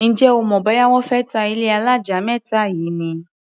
Ǹjẹ́ o mọ̀ bóyá wọ́n fé ta ilé alájà mẹ́ta yìí ni?